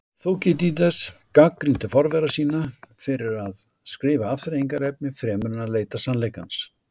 Þúkýdídes gagnrýndi forvera sína fyrir að skrifa afþreyingarefni fremur en að leita sannleikans.